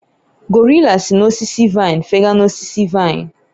gorilla si n'osisi vine fega n'osisi vine